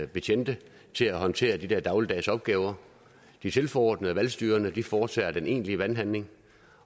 betjente til at håndtere de der dagligdags opgaver de tilforordnede og valgstyrerne foretager den egentlige valghandling